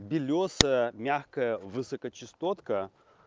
белёсая мягкая высокочастотная